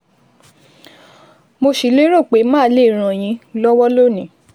Mo sì lérò pé màá lè ràn yín lọ́wọ́ lónìí